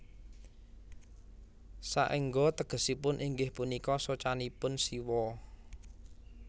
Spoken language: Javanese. Saengga tegesipun inggih punika socanipun Siwa